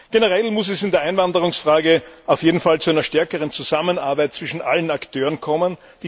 Generell muss es in der Einwanderungsfrage auf jeden Fall zu einer stärkeren Zusammenarbeit zwischen allen Akteuren kommen.